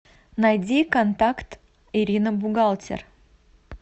найди контакт ирина бухгалтер